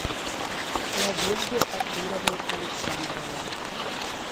надежде артуровне александровой